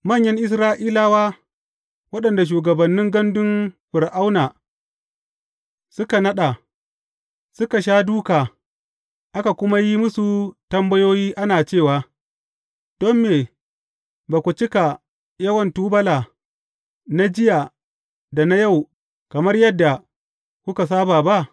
Manyan Isra’ilawa waɗanda shugabannin gandun Fir’auna suka naɗa, suka sha dūka, aka kuma yi musu tambayoyi ana cewa, Don me ba ku cika yawan tubula na jiya da na yau kamar yadda kuka saba ba?